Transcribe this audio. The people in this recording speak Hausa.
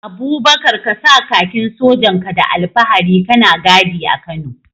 Abubakar ka sa kakin sojan ka da alfahari kana gadi a Kano.